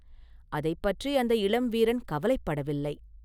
அதைப் பற்றி அந்த இளம் வீரன் கவலைப்படவில்லை.